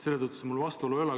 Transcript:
Nii et seda vastuolu ei ole.